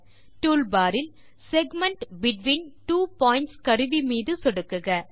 toolbar இல் வட்டப்பகுதி between two points கருவி மீது சொடுக்குக